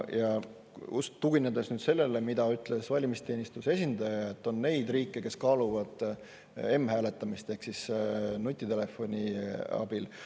Tuginedes sellele, mida ütles valimisteenistuse esindaja,, et on neid riike, kes kaaluvad m-hääletamist ehk nutitelefoni abil.